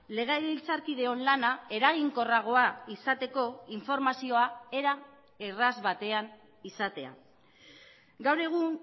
legebiltzarkideon lana eraginkorragoa izateko informazioa era erraz batean izatea gaur egun